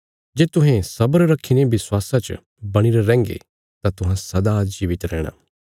जे तुहें सब्र रखीने विश्वासा च बणीरे रैहन्गे तां तुहां सदा जीवित रैहणा